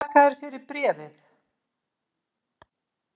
Þakka þér fyrir bréfið!